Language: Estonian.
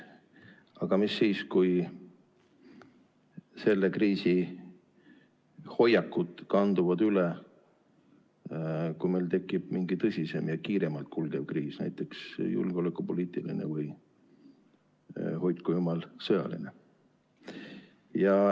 Aga mis siis, kui selle kriisi hoiakud kanduvad üle, kui meil tekib mingi tõsisem ja kiiremalt kulgev kriis, näiteks julgeolekupoliitiline või, hoidku jumal, sõjaline.